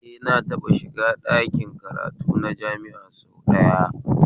Eh na taɓa shiga ɗakin karatu na jami'a sau dayawa